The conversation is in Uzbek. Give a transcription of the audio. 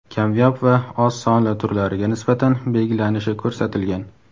kamyob va oz sonli turlariga nisbatan belgilanishi ko‘rsatilgan.